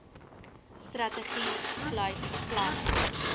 strategie sluit planne